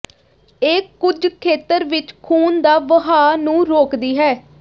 ਇਹ ਕੁਝ ਖੇਤਰ ਵਿੱਚ ਖੂਨ ਦਾ ਵਹਾਅ ਨੂੰ ਰੋਕਦੀ ਹੈ